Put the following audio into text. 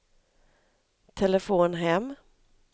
telefon hem